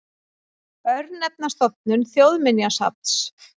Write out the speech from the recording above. Örnefnastofnun Þjóðminjasafns.